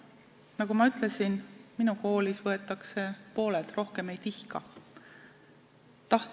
Nagu ma ütlesin, minu koolis on pooled lapsed venekeelsed, rohkem ei tihka võtta.